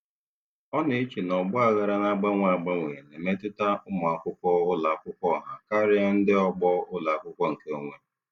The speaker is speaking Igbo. Ọ na-eche na ọgba aghara na-agbanwe agbanwe na-emetụta ụmụ akwụkwọ ụlọ akwụkwọ ọha karịa ndị ọgbọ ụlọ akwụkwọ nkeonwe.